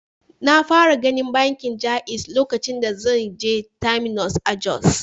Na fara ganin bankin Jaiz lokacin da zan je Terminus a Jos.